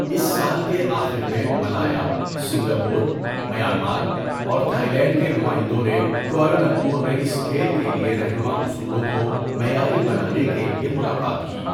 اس سال کے آخر میں، ملایا، سنگاپور، میانمار، اور تھائی لینڈ کے نمائندوں نے کوالالمپور میں اس کھیل کے لیے رہنما اصولوں کو معیاری بنانے کے لیے ملاقات کی۔